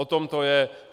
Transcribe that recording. O tom to je.